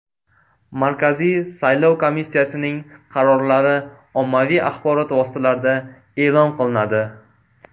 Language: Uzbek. Markaziy saylov komissiyasining qarorlari ommaviy axborot vositalarida e’lon qilinadi.